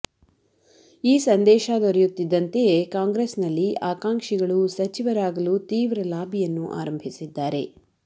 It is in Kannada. ಈ ಸಂದೇಶ ದೊರೆಯುತ್ತಿದ್ದಂತೆಯೇ ಕಾಂಗ್ರೆಸ್ನಲ್ಲಿ ಆಕಾಂಕ್ಷಿಗಳು ಸಚಿವರಾಗಲೂ ತೀವ್ರ ಲಾಬಿಯನ್ನು ಆರಂಭಿಸಿದ್ದಾರೆ